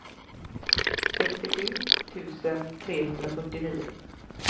sextiosju tusen trehundrafyrtionio